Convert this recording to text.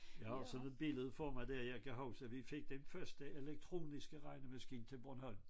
Ja og sådan et billede får man der jeg kan huske vi fik den første elektroniske regnemaskine til Bornholm